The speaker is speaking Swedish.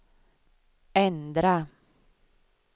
ändra